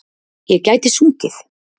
Ég gæti sungið.